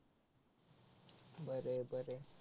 बर आहे बर आहे.